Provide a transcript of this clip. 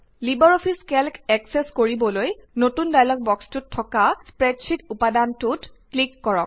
Libre office Calc access কৰিবলৈ নতুন dialog বক্সটোত থকা স্প্ৰেডশ্বিট উপাদানটোত ক্লিক কৰক